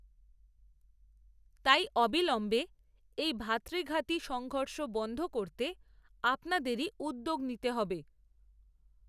তাই, অবিলম্বে এই ভ্রাতৃঘাতী, সংঘর্ষ বন‌ধ করতে, আপনাদেরই উদ্যোগ নিতে হবে